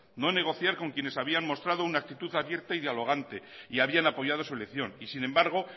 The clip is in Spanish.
no negociar con quienes habían mostrado una actitud abierta y dialogante y habían apoyado su elección y sin embargo